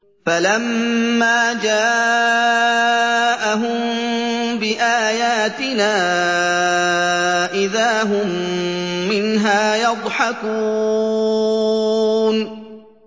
فَلَمَّا جَاءَهُم بِآيَاتِنَا إِذَا هُم مِّنْهَا يَضْحَكُونَ